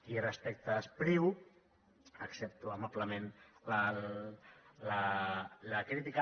i respecte a espriu accepto amablement la crítica